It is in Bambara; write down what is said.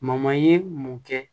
ye mun kɛ